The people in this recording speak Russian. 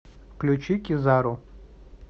включи кизару